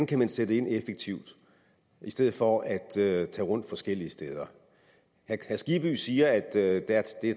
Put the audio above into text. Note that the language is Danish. kan sætte ind effektivt i stedet for at tage rundt forskellige steder herre skibby siger at der er